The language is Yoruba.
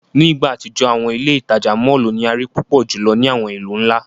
Ni igba atijọ, awọn ile-itaja mọllu ni a rii pupọ julọ ni awọn ilu nla.